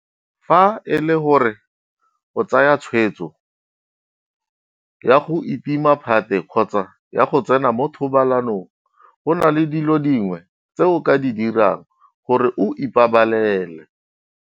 Fa e le gore o tsaya tshwetso ya go itima phate kgotsa ya go tsena mo thobalanong, go na le dilo dingwe tse o ka di dirang gore o ipabalele.